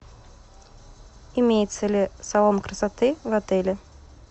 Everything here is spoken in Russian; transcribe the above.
имеется ли салон красоты в отеле